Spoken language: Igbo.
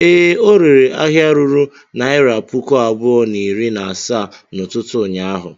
Ee, ọ rere ahịa ruru naira puku abụọ na iri na asaa n'ụtụtụ ụnyaahụ.